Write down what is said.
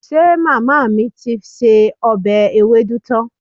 Ṣe màmá mi ti se ọbẹ̀ ewédú tán?